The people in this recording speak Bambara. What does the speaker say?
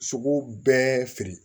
Sogo bɛɛ feere